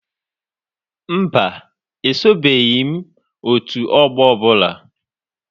Mba, esonyebeghị m ótù ọgbọ ọbụla.